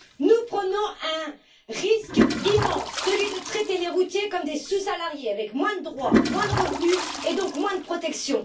Nous prenons un risque immense celui de traiter les routiers comme des sous salariés, avec moins de droits, moins de revenus et donc moins de protection.